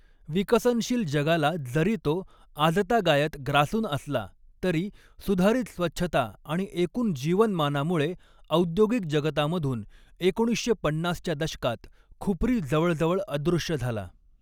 विकसनशील जगाला जरी तो आजतागायत ग्रासून असला, तरी सुधारित स्वच्छता आणि एकून जीवनमानामुळे, औद्योगिक जगतामधून एकोणीसशे पन्नासच्या दशकात खुपरी जवळजवळ अदृश्य झाला.